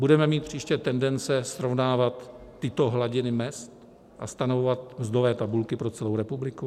Budeme mít příště tendence srovnávat tyto hladiny mezd a stanovovat mzdové tabulky pro celou republiku?